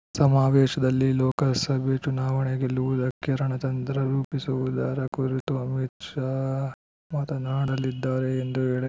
ಸಮಾವೇಶದಲ್ಲಿ ಲೋಕಸಭೆ ಚುನಾವಣೆ ಗೆಲ್ಲುವುದಕ್ಕೆ ರಣತಂತ್ರ ರೂಪಿಸುವುದರ ಕುರಿತು ಅಮೀತ್‌ ಶಾ ಮಾತನಾಡಲಿದ್ದಾರೆ ಎಂದು ಹೇಳಿ